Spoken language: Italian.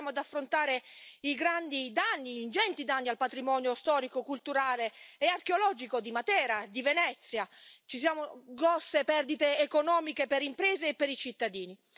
Ci ritroviamo ad affrontare gli ingenti danni al patrimonio storico, culturale e archeologico di Matera e di Venezia. Ci sono grosse perdite economiche per le imprese e per i cittadini.